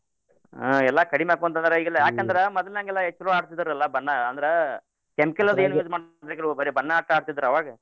ಹಾ ಎಲ್ಲಾ ಕಡೀಮ್ಯಾಕೋಂದ್ರ ಯ್ಯಾಕಂದ್ರ ಮದ್ಲ್ ಹೆಂಗ್ ಎಲ್ಲಾ ಎಸ್ಟ್ ಚಲೋ ಆಡ್ತಿದ್ರಲ ಬನ್ನಾ ಅಂದ್ರ chemical ಅದ್ ಏನೂ use ಮಾಡ್ತಿದ್ದಿಲ್ಲಾ ಬರೇ ಬನ್ನಾ ಅಷ್ಟ ಆಡ್ತಿದ್ರಾ ಅವಾಗ.